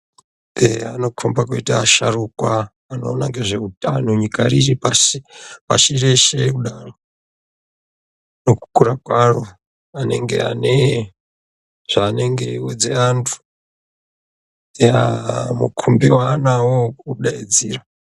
Eya, anokomba kuite asharukwa anoona ngezveutano nyika yeshe pashi reshe kudaro nekukura kwaro, anenge ane zvaanenge achiudza antu,,mukombi waanayo wekudaidzira.